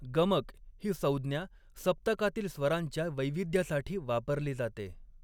गमक ही संज्ञा सप्तकातील स्वरांच्या वैविध्यासाठी वापरली जाते.